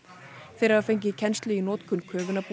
þeir hafa fengið kennslu í notkun